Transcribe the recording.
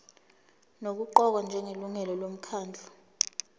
nokuqokwa njengelungu lomkhandlu